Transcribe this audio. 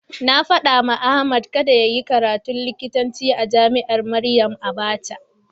Na faɗawa Ahmad kada yayi karatun likitanci a jami'ar Maryam Abacha.